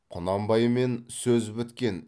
құнанбаймен сөз біткен